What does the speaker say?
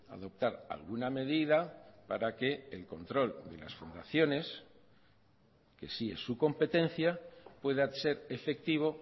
adoptar alguna medida para que el control de las fundaciones que sí es su competencia pueda ser efectivo